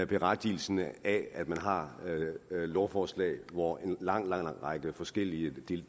berettigelsen af at man har lovforslag hvor er en lang lang række forskellige